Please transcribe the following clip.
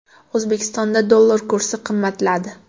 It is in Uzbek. O‘zbekistonda dollar kursi qimmatladi.